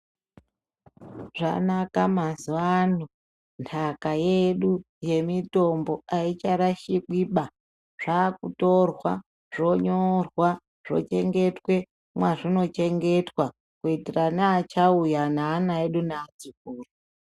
Zvanaka mazuwan ndaka yedu yemitombo haicharashikwiba zvakutorwa zvonyorwa zvochengetwe mwazvinochengetwa kuitira neachauya neana edu neatikuru .